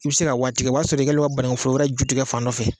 I bɛ se ka waati kɛ o b'a sɔrɔ i kɛlen don ka banakun foro wɛrɛ jutigɛ fan dɔ fɛ